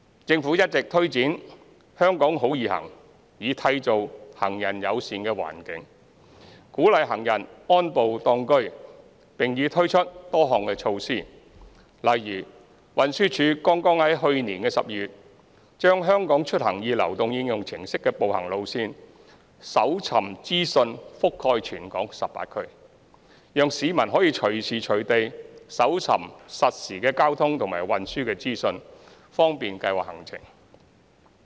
政府一直推展"香港好.易行"，以締造行人友善環境，鼓勵行人安步當車，並已推出多項措施，例如運輸署剛於去年12月把"香港出行易"流動應用程式的步行路線搜尋資訊覆蓋全港18區，讓市民可以隨時隨地搜尋實時交通和運輸資訊，方便計劃行程。